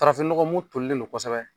Farafin nɔgɔ mu tɔrilen don kosɛbɛ.